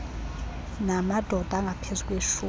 namadod angaphezu kweshum